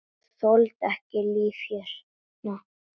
Þoli ekki þetta líf hérna.